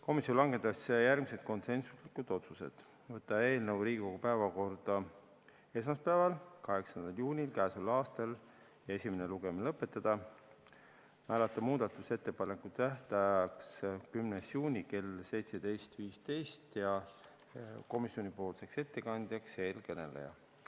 Komisjon langetas järgmised konsensuslikud otsused: võtta eelnõu Riigikogu päevakorda esmaspäevaks, 8. juuniks, esimene lugemine lõpetada, määrata muudatusettepanekute tähtajaks 10. juuni kell 17.15 ja komisjoni ettekandjaks teie ees kõneleja.